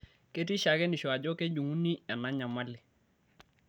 Ketii shakenisho ajo kejung'uni ena nyamali.